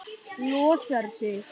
Losar sig.